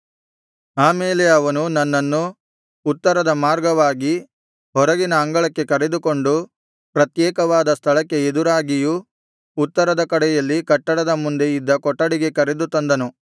ಆಮೇಲೆ ಅವನು ನನ್ನನ್ನು ಉತ್ತರದ ಮಾರ್ಗವಾಗಿ ಹೊರಗಿನ ಅಂಗಳಕ್ಕೆ ಕರೆದುಕೊಂಡು ಪ್ರತ್ಯೇಕವಾದ ಸ್ಥಳಕ್ಕೆ ಎದುರಾಗಿಯೂ ಉತ್ತರದ ಕಡೆಯಲ್ಲಿ ಕಟ್ಟಡದ ಮುಂದೆ ಇದ್ದ ಕೊಠಡಿಗೆ ಕರೆದು ತಂದನು